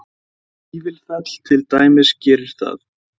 Vífilfell til dæmis gerir það